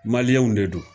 de don